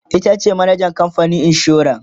itace manajan kamfanin insuran